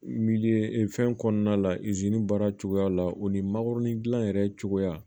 fɛn kɔnɔna la baara cogoya la o ni makɔrɔni dilan yɛrɛ cogoya